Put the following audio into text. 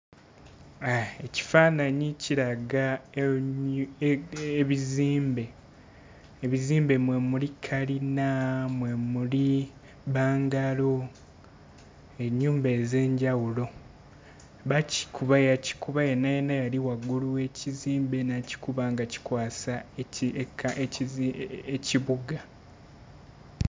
Ekifaananyi kiraga ebi ebi ebizimbe. Ebizimbe mwe muli kalina, mwe muli bbangalu, ennyumba ez'enjawulo. Bakikuba yakikuba yenna yenna eyali waggulu w'ekizimbe n'akikuba nga kikwasa eki eka ekizi ekibuga.